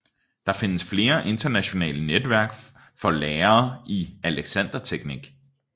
Der findes flere internationale netværk for lærere i alexanderteknik